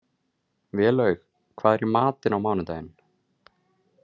Vélaug, hvað er í matinn á mánudaginn?